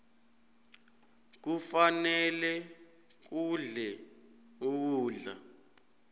kufanele udle ukudla